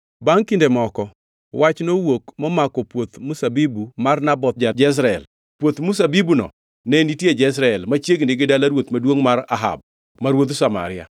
Bangʼ kinde moko wach nowuok momako puoth mzabibu mar Naboth ja-Jezreel, puoth mzabibuno ne nitie Jezreel, machiegni gi dala ruoth maduongʼ mar Ahab ma ruodh Samaria.